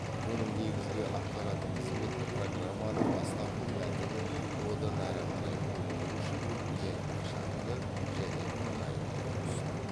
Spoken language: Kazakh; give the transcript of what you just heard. мұның негізгі атқаратын қызметі программаның бастапқы мәтінін одан әрі қарай өңдеу үшін ең ықшамды және ыңғайлы етіп ұсыну